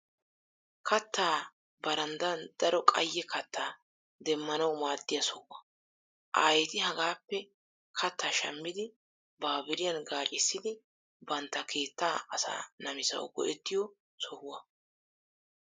Kattaa barandan daro qayye kattaa demmanawu maaddiya sohuwa. Aayeti hagaappe kattaa shammidi baabiriyan gaaccissidi banta keettaa asaa namisawu go'ettiyo sohuwa.